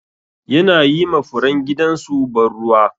Yana yi ma furen gidan su ban ruwa.